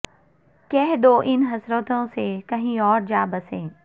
کہہ دو ان حسرتوں سے کہیں اور جا بسیں